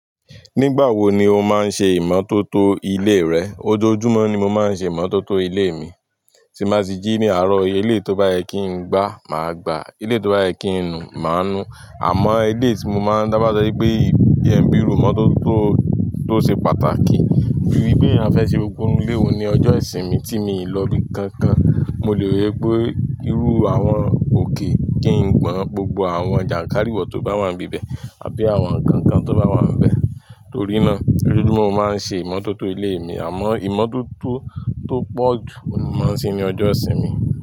Nígbà wo ni o máa ń ṣe ìmọ́tótó ilé rẹ? Ojoojúmọ́ ni mo máa ń ṣe ìmọ́tótó ilé mi, tí ba ti jí ní àárọ̀. Ele tó bá yẹ kí n gbá, màá gbá. Eleyi tó bá yẹ kí n nu, màá nu. Àmọ́ eleyi tí mo máa ń taba so wi pé ìbí jẹ́ ń bí iròu imótótó, tó ṣe pàtàkì. Bí i pé a fẹ́ ṣe gbogbo ilé n ni ọjọ́ ìsinmi tí mi lò bí nkankan. Mo lè rí i pé ìrú àwọn òkè kí n gbọn gbogbo àwọn jànkárìwọ̀ tó bá wà níbẹ̀ àbí àwọn nkankan tó bá wà níbẹ̀. Torí náà, ojoojúmọ́ mo máa ń ṣe ìmọ́tótó ilé mi. Àmọ́ ìmọ́tótó tó pọ̀ jù ni mo máa ń ṣe ní ọjọ́ ìsinmi.